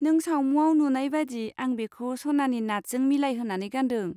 नों सावमुआव नुनाय बादि आं बेखौ सनानि नाथजों मिलायहोनानै गानदों।